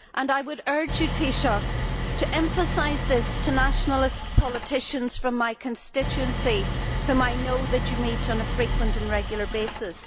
I would urge the Taoiseach to emphasise this to nationalist politicians from my constituency whom I know that he meets on a frequent and regular basis.